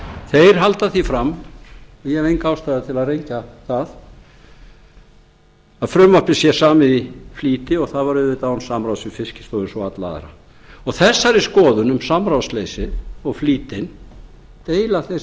þeir halda því fram og ég hef enga ástæðu til að rengja það að frumvarpið sé samið í flýti og það var auðvitað án samráðs við fiskistofu eins og alla aðra þessari skoðun um samráðsleysið og flýtinn deila þeir